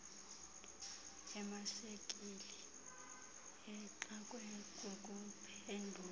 emashekile exakwe kukuphendula